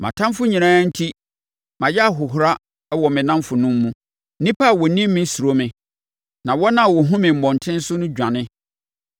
Mʼatamfoɔ nyinaa enti, mayɛ ahohora wɔ me nnamfonom mu; nnipa a wɔnim me suro me, na wɔn a wɔhunu me mmɔntene so dwane.